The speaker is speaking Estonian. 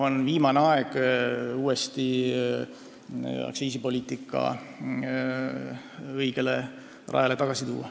On viimane aeg aktsiisipoliitika õigele rajale tagasi tuua.